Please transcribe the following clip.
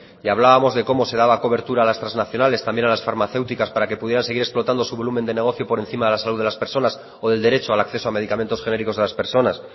y hablábamos de cómo se daba cobertura las trasnacionales también a las farmacéuticas para que pudieran seguir explotando su volumen de negocio por encima de la salud de las personas o del derecho al acceso a medicamentos genéricos de las personas